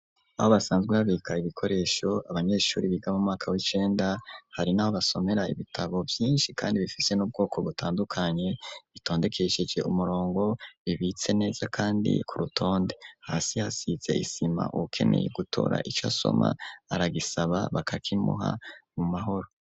Aho basanzwe habika ibikoresho abanyeshuri biga mu mwaka w'icenda, hari n'aho basomera ibitabo vyinshi kandi bifise n'ubwoko butandukanye, bitondekesheje umurongo, bibitse neza kandi ku rutonde. Hasi hasize isima uwukeneye gutora ico asoma, aragisaba bakakimuha mu mahoro.